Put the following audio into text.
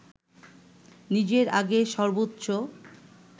নিজের আগের সর্বোচ্চ